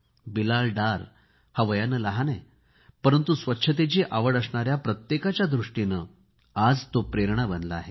बिलाल डार हा वयाने लहान आहे परंतु स्वच्छतेची आवड असणाऱ्याा प्रत्येकाच्या दृष्टीने तो प्रेरणा बनला आहे